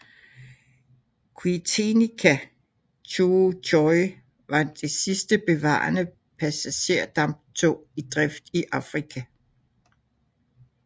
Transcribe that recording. Outeniqua Choo Tjoe var det sidste bevarede passagerdamptog i drift i Afrika